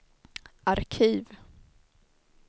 arkiv